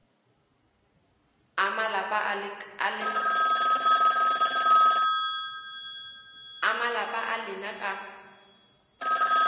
a malapa a lena ka